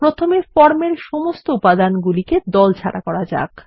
প্রথমে ফর্ম এর সমস্ত উপাদান গুলিকে দলমুক্ত করা যাক